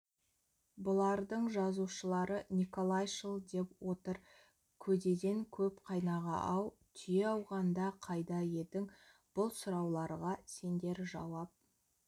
бұлардың жазушылары николайшыл деп отыр көдеден көп қайнаға-ау түйе ауғанда қайда едің бұл сұрауларға сендер жауап